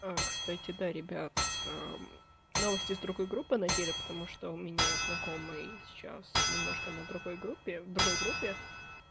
а кстати да ребят новости из другой группы нагеля потому что у меня знакомый сейчас немножко на другой группе другой группе